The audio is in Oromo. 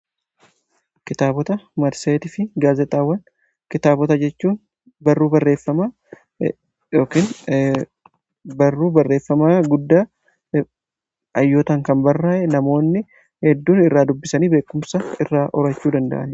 Kitaabota, marseetii fi gaazexaawwan: kitaabota jechuun barruu barreeffamaa yookiin barruu barreeffamaa guddaa hayyootaan kan barraa'an namoonni hedduun irraa dubbisanii beekumsa irraa horachuu danda'anidha.